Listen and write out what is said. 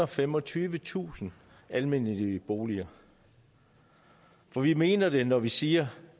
og femogtyvetusind almennyttige boliger for vi mener det når vi siger